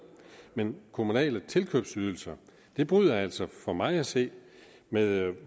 men kommunale tilkøbsydelser bryder altså for mig at se med